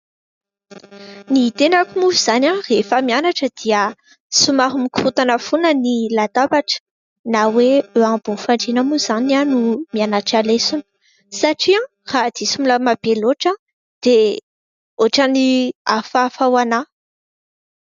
Ny tenako moa izany rehefa mianatra dia somary mikorontana foana ny latabatra na hoe eo ambony fandriana moa izany no mianatra lesona satria raha diso milamina be loatra dia ohatry ny hafahafa ho anahy.